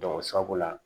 sabu la